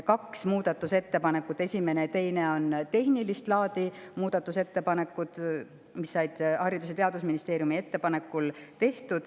Kaks muudatusettepanekut – esimene ja teine – on tehnilist laadi ettepanekud, mis said tehtud Haridus- ja Teadusministeeriumi ettepanekul.